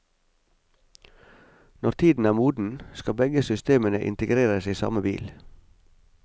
Når tiden er moden, skal begge systemene integreres i samme bil.